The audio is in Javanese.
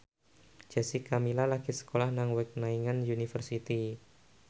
Jessica Milla lagi sekolah nang Wageningen University